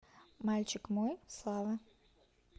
мальчик мой слава